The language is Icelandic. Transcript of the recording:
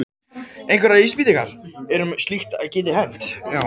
Einhverjar vísbendingar eru um að slíkt geti hent.